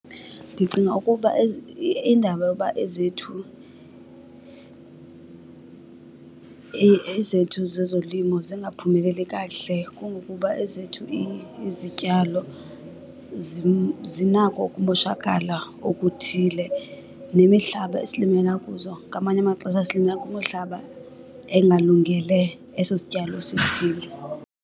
Ndicinga ukuba iindaba yoba ezethu, ezethu zezolimo zingaphumeleli kakuhle kungokuba ezethu izityalo zinako ukumoshakala okuthile. Nemihlaba esilimela kuzo, ngamanye amaxesha silimela kwimihlaba engalungele eso sityalo sithile.